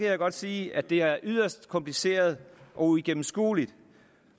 jeg godt sige at det er yderst kompliceret og uigennemskueligt